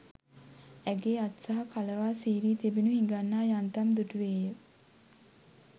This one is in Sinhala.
ඇගේ අත් සහ කලවා සීරී තිබෙනු හිඟන්නා යන්තම් දුටුවේ ය.